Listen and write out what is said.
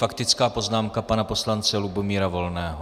Faktická poznámka pana poslance Lubomíra Volného.